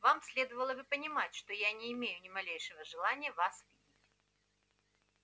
вам следовало бы понимать что я не имею ни малейшего желания вас видеть